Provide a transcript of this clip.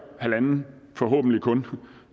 forhåbentlig kun